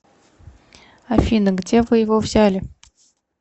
афина где вы его взяли